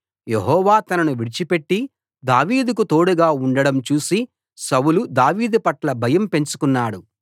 యెహోవా తనను విడిచిపెట్టి దావీదుకు తోడుగా ఉండడం చూసి సౌలు దావీదు పట్ల భయం పెంచుకున్నాడు